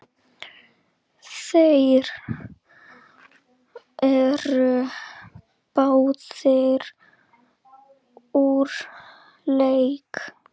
Þeir eru báðir úr leik.